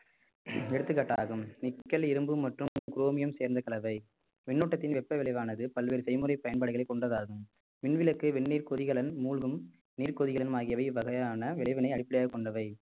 எடுத்துக்காட்டாகும் nickle இரும்பு மற்றும் chromium சேர்ந்த கலவை மின்னோட்டத்தின் வெப்ப விளைவானது பல்வேறு செய்முறை பயன்பாடுகளை கொண்டதாகும் மின் விளக்கு வெந்நீர் குரிகலன் மூழ்கும் நீர் கொதிகலன் ஆகியவை இவ்வகையான விளைவினை அடிப்படையாகக் கொண்டவை